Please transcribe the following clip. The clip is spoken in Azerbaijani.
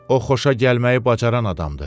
O xoşagəlməyi bacaran adamdır.